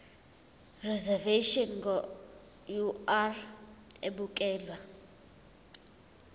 reservation ngur ukubekelwa